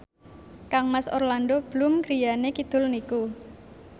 kangmas Orlando Bloom griyane kidul niku